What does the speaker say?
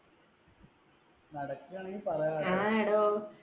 നടക്കുവാണെങ്കിൽ പറയടോ, ആടോ